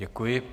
Děkuji.